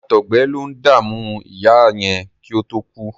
Àtọgbẹ lo ń dàmú ìyá yẹn kí ó tó kú.